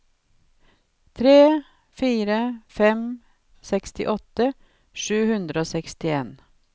tre fire tre fem sekstiåtte sju hundre og sekstien